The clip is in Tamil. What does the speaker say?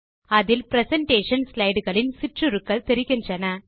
அதில் பிரசன்டேஷன் ஸ்லைடு களின் சிற்றுருக்கள் தெரிகின்றன